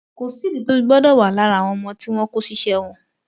kò sídìí tó fi gbọdọ wà lára àwọn ọmọ tí wọn kó ṣiṣẹ wọn